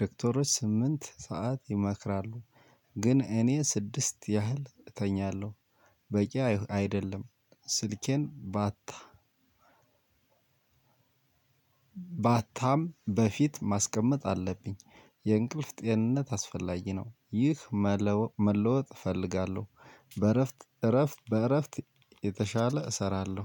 ዶክተሮች ስምንት ሰዓት ይመክራሉ። ግን እኔ ስድስት ያህል እተኛለሁ። በቂ አይደለም። ስልኬን ማታም በፊት ማስቀመጥ አለብኝ። የእንቅልፍ ጤንነት አስፈላጊ ነው። ይህ መለወጥ እፈልጋለሁ። በእረፍት እረፍት በእረፍት የተሻለ እሰራለሁ